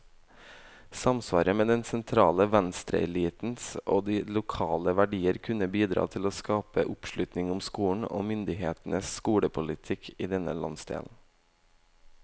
Samsvaret mellom den sentrale venstreelitens og de lokale verdier kunne bidra til å skape oppslutning om skolen, og myndighetenes skolepolitikk i denne landsdelen.